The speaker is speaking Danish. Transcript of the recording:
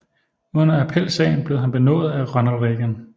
Under appelsagen blev han benådet af Ronald Reagan